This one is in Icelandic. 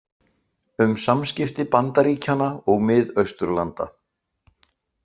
Um samskipti Bandaríkjanna og Mið-Austurlanda